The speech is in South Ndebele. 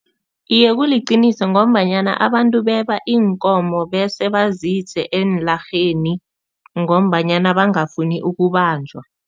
Iye, kuliqiniso ngombanyana abantu beba iinkomo bese bazise eenlarheni ngombanyana bangafuni ukubanjwa.